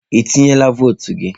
Ị tinyela votu gị?